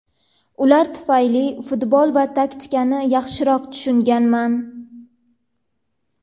Ular tufayli futbol va taktikani yaxshiroq tushunganman”.